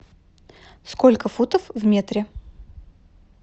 сколько футов в метре